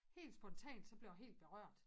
Helt spontant så blev jeg helt berørt